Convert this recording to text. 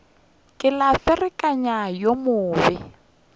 ke la ferekana yo mobe